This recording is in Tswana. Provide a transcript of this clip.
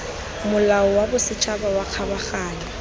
molao wa bosetšhaba wa kgabaganyo